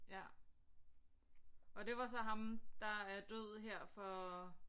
Ja og det var så ham der er død her for